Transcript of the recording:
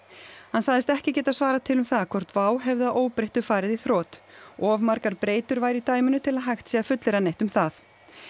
hann sagðist ekki geta svarað til um það hvort WOW hefði að óbreyttu farið í þrot of margar breytur væru í dæminu til að hægt sé að fullyrða neitt um það